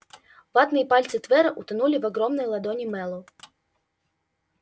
ватные пальцы твера утонули в огромной ладони мэллоу